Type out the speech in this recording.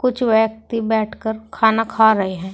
कुछ व्यक्ति बैठकर खाना खा रहे हैं।